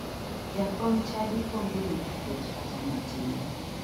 Jakom chadi onge wich kuot kata matin